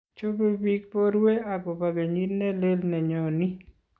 Chobei biik borwe akobo kenyit nelel ne nyonii